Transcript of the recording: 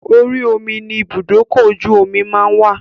Orí omi ni ibùdókọ̀-ojú-omí máa ń wà